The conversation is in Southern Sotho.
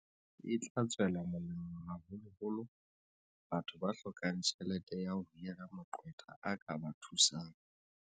E tla tswela molemo haholo holo batho ba hlokang tjhelete ya ho hira maqwetha a ka ba thusang.